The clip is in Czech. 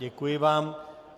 Děkuji vám.